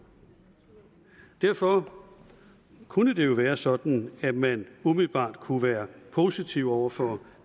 derfor kunne det jo være sådan at man umiddelbart kunne være positiv over for